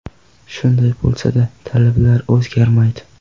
Shunday bo‘lsada talablar o‘zgarmaydi.